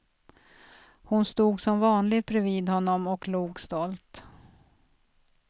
Hon stod som vanligt bredvid honom och log stolt.